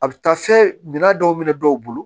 A bɛ taa fɛn mina dɔw minɛ dɔw bolo